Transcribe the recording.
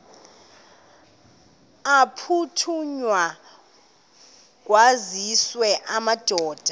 aphuthunywayo kwaziswe amadoda